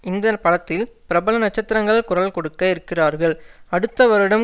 இந்த படத்தில் பிரபல நட்சத்திரங்கள் குரல் கொடுக்க இருக்கிறார்கள் அடுத்த வருடம்